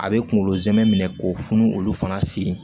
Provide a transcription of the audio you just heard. A bɛ kunkolo zɛmɛ minɛ k'o funu olu fana fe yen